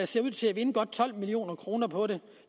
ser ud til at vinde godt tolv million kroner på det